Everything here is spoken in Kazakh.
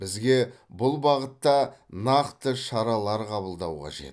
бізге бұл бағытта нақты шаралар қабылдау қажет